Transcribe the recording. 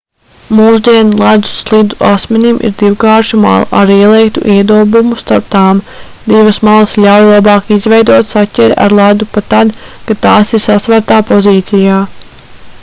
mūsdienu ledus slidu asmenim ir divkārša mala ar ieliektu iedobumu starp tām divas malas ļauj labāk izveidot saķeri ar ledu pat tad kad tās ir sasvērtā pozīcijā